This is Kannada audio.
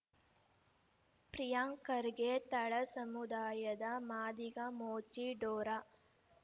ಪ್ರಿಯಾಂಕ್‌ ಖರ್ಗೆ ತಳಸಮುದಾಯದ ಮಾದಿಗ ಮೋಚಿ ಡೋರ